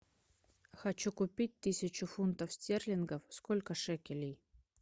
хочу купить тысячу фунтов стерлингов сколько шекелей